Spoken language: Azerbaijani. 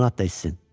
Limonad da içsin.